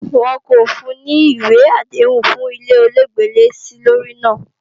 Wọn kò fun ní ìwé àdéhùn fún ilé ọlọ́gbẹ́lẹ́-sílórí náà